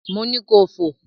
Mo ni kò fò!